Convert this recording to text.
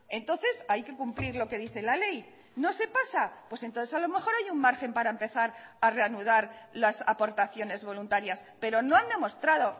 entonces hay que cumplir lo que dice la ley no se pasa pues entonces a lo mejor hay un margen para empezar a reanudar las aportaciones voluntarias pero no han demostrado